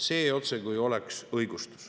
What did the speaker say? See oleks otsekui õigustus.